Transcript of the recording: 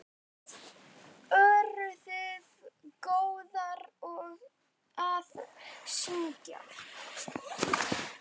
Eruð þið góðar að syngja?